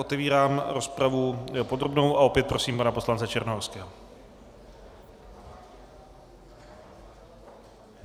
Otevírám rozpravu podrobnou a opět prosím pana poslance Černohorského.